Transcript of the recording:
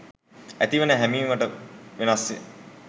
ඇතිවෙන හැමීමට වෙනස්ය